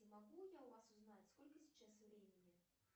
могу я у вас узнать сколько сейчас времени